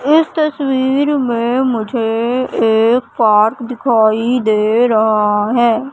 इस तस्वीर में मुझे एक पार्क दिखाई दे रहा हैं।